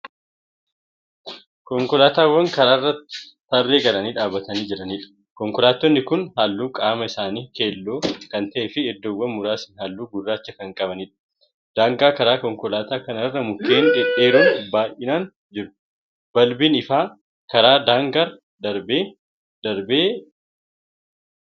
Konkolaataawwan karaarra tarree galanii dhaabatanii jiranidha. kankolaattonni Kuni halluun qaama isaanii keelloo Kan ta'eefi iddoowwan muraasni halluu gurraacha Kan qabaniidha. daangaa karaa konkolaataa kanarra mukkeen dhedheeroon baay'inaan jiru. balbiin ifaa karaa daangarra darbee darbee dhaabameetu Jira.